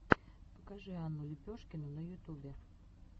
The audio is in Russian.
покажи анну лепешкину на ютубе